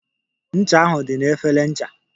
Ncha ahụ dị na efere ncha.